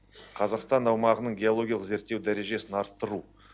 қазақстан аумағының геологиялық зерттеу дәрежесін арттыру